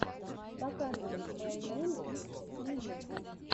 показывай май нэйм из скриллекс